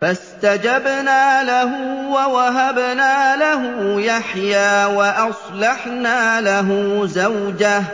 فَاسْتَجَبْنَا لَهُ وَوَهَبْنَا لَهُ يَحْيَىٰ وَأَصْلَحْنَا لَهُ زَوْجَهُ ۚ